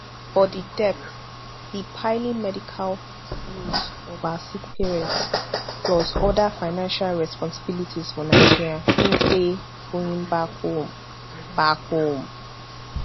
but di debts di piling medical bills of her sick parents plus oda financial responsibilities for nigeria mean say going back home back home